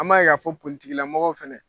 An m'a ye ka fɔ mɔgɔw fɛnɛ